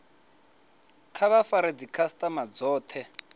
kha vha fare dzikhasitama dzothe